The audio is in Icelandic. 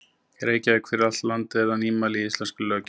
í Reykjavík, fyrir allt landi og er það nýmæli í íslenskri löggjöf.